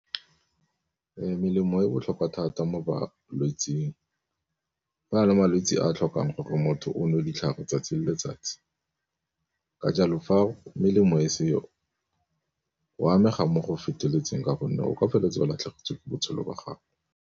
Melemo e botlhokwa thata mo balwetseng fa le malwetse a a tlhokang gore motho o nwe o ditlhare 'tsatsi le letsatsi, ka jalo fa melemo e seo wa amega mo go feteletseng ka gonne o ka feleletsa ba latlhegetswe botshelo jwa gago.